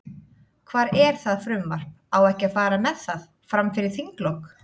Hvar er það frumvarp, á ekki að fara með það, fram fyrir þinglok?